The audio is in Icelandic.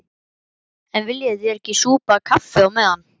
En viljið þér ekki súpa kaffi á meðan?